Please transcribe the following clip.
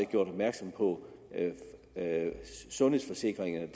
gjort opmærksom på sundhedsforsikringerne